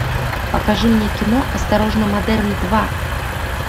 покажи мне кино осторожно модерн два